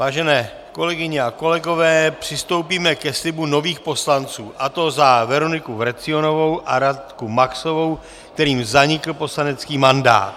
Vážené kolegyně a kolegové, přistoupíme k slibu nových poslanců, a to za Veroniku Vrecionovou a Radku Maxovou, kterým zanikl poslanecký mandát.